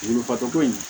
Dugukolo ko in